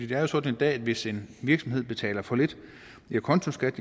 det er jo sådan i dag at hvis en virksomhed betaler for lidt i acontoskat